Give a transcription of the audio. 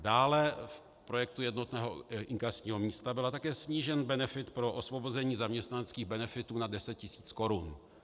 Dále v projektu jednotného inkasního místa byl také snížen benefit pro osvobození zaměstnaneckých benefitů nad 10 tis. Kč.